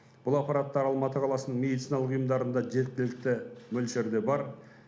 бұл аппараттар алматы қаласының медициналық ұйымдарында жеткілікті мөлшерде бар